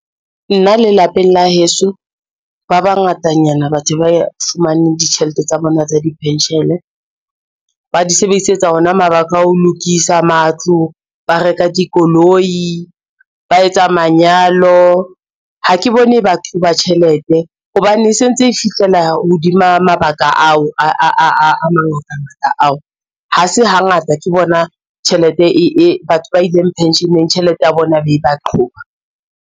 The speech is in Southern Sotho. Nna le lapeng la heso ba bangatanyana batho ba fumaneng ditjhelete tsa bona tsa diphentjhele. Ba di sebedisetsa ona mabaka a ho lokisa matlo, ba reka dikoloi, ba etsa manyalo. Ha ke bone ba qhoba tjhelete hobane e sentse e fihlela hodima mabaka ao a mangata ngata ao, ha se hangata ke bona tjhelete e batho ba ileng pension-eng tjhelete ya bona e be ba qhoba.